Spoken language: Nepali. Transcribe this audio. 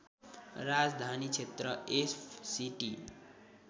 राजधानी क्षेत्र एफसीटी